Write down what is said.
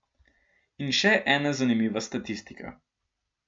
In še ena zanimiva statistika.